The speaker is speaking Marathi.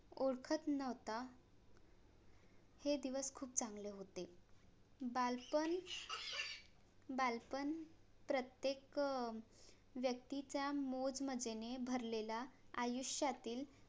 ओळखत नव्हता हे दिवस खूप चांगले होते बालपण बालपण प्रत्येक व्यक्तीचा मोजमज्जेने भरलेला आयुष्यातील